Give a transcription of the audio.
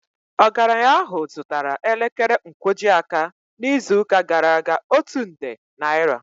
Ogaranya ahụ zụtara elekere nkwojiaka n'izuụka gara aga otu nde naira